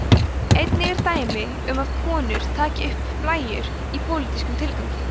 einnig eru dæmi um að konur taki upp blæjur í pólitískum tilgangi